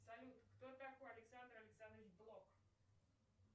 салют кто такой александр александрович блок